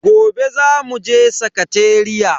Gobe zamu je sakateriya.